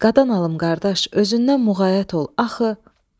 Qadan alım qardaş, özündən muğayət ol axı.